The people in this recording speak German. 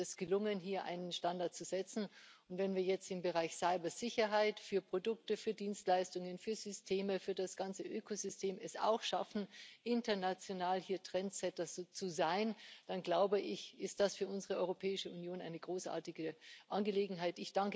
es ist uns gelungen, hier einen Standard zu setzen, und wenn wir es jetzt im Bereich Cybersicherheit für Produkte, für Dienstleistungen, für Systeme, für das ganze Ökosystem es auch schaffen, international Trendsetter zu sein, dann ist das für unsere Europäische Union eine großartige Angelegenheit.